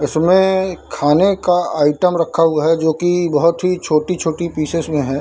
इसमें खाने का आइटम रखा हुआ है जो की बहुत ही छोटी-छोटी पीसेस में है।